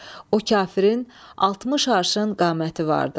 O kafirin 60 arşın qaməti vardı.